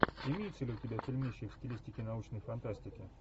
имеется ли у тебя фильмище в стилистике научной фантастики